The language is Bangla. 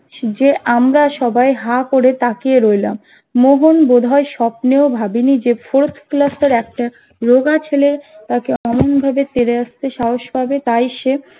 যে আমরা সবাই হা করে তাকিয়ে রইলাম মোহন বোধয় স্বপ্নেও ভাবিনি যে fourth ক্লাস এর একটা রোগা ছেলে তাকে অমন ভাবে তেড়ে আসতে সাহস পাবে তাই সে